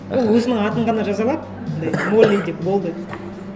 ол өзінің атын ғана жаза алады андай молли деп болды